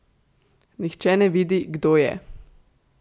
Nihče ne vidi, kdo je.